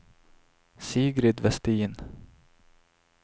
Sigrid Westin